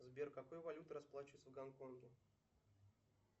сбер какой валютой расплачиваются в гонконге